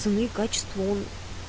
цени качество